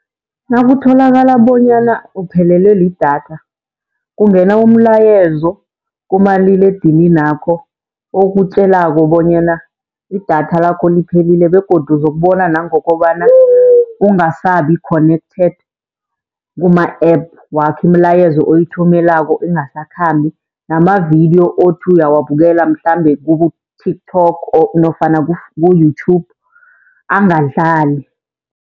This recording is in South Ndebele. Nakutholakala bonyana uphelelwe lidatha kungena umlayezo kumaliledininakho okutjelako bonyana idatha lakho liphelile begodu uzokubona nangokobana ungasabi-connected kuma-app wakho. Imilayezo oyithumelako ingasakhambi namavidiyo othi uyawabukela mhlambe kubo-TikTok nofana ku-YouTube angadlali.